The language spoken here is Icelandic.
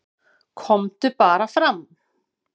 """KOMDU BARA FRAM,"""